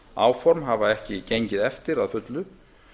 aðhaldsáform hafa ekki gengið eftir að fullu